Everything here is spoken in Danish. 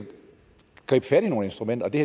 gribe fat i nogle instrumenter og det